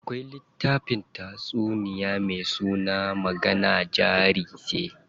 Akwai littafin tatsuniyoyi me suna magana jari ce.